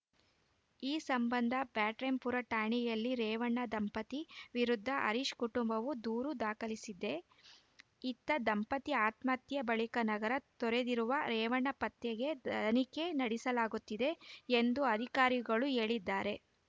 ಈ ಸಂಬಂಧ ಬ್ಯಾಟರಾಯನಪುರ ಠಾಣೆಯಲ್ಲಿ ರೇವಣ್ಣ ದಂಪತಿ ವಿರುದ್ಧ ಹರೀಶ್‌ ಕುಟುಂಬವು ದೂರು ದಾಖಲಿಸಿದೆ ಇತ್ತ ದಂಪತಿ ಆತ್ಮಹತ್ಯೆ ಬಳಿಕ ನಗರ ತೊರೆದಿರುವ ರೇವಣ್ಣ ಪತ್ತೆಗೆ ತನಿಖೆ ನಡೆಸಲಾಗುತ್ತಿದೆ ಎಂದು ಅಧಿಕಾರಿಗಳು ಹೇಳಿದ್ದಾರೆ